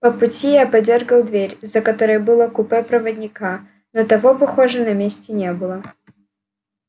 по пути я подёргал дверь за которой было купе проводника но того похоже на месте не было